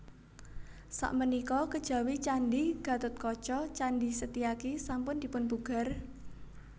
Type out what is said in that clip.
Sakmenika kejawi Candhi Gatotkaca Candhi Setyaki sampun dipunpugar